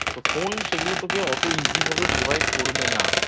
তো Phone সেগুলো তোকে অত Easy ভাবে Provide করবে না